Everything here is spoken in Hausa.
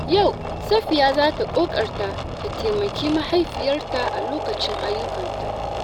Yau Safiyya za ta ƙoƙarta ta taimaki mahaifiyarta a lokacin ayyukanta.